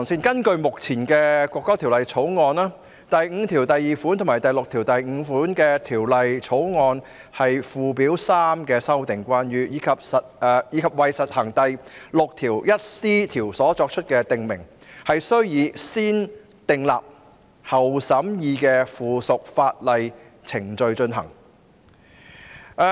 根據目前的《國歌條例草案》，第52條及第65條是關於附表3的修訂，以及為施行第 61c 條所作出的訂明，須以"先訂立後審議"的附屬法例程序進行。